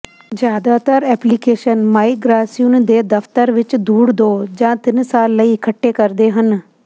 ਜ਼ਿਆਦਾਤਰ application migration ਦੇ ਦਫ਼ਤਰ ਵਿਚ ਧੂੜ ਦੋ ਜਾਂ ਤਿੰਨ ਸਾਲ ਲਈ ਇਕੱਠੇ ਕਰਦੇ ਹਨ